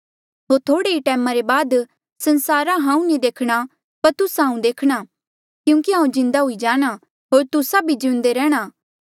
होर थोह्ड़े ही टैम रे बाद संसारा हांऊँ नी देखणा पर तुस्सा हांऊँ देखणा क्यूंकि हांऊँ जिउंदा हुई जाणा होर तुस्सा भी जिउंदे रैंह्णां